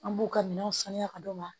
An b'u ka minɛnw saniya ka d'u ma